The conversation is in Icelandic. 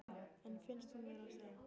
En finnst hún verða að segja